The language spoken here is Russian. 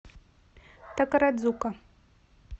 такарадзука